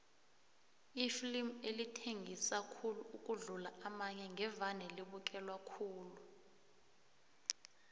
iflimu elithengisa khulu ukudlula amanye ngevane libukelwe khulu